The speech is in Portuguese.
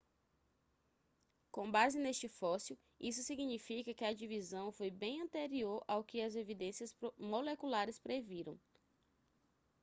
com base neste fóssil isso significa que a divisão foi bem anterior ao que as evidências moleculares previram